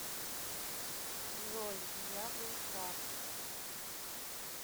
джой я был прав